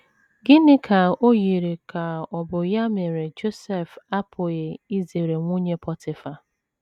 Gịnị ka o yiri ka ọ bụ ya mere Josef apụghị izere nwunye Pọtịfa?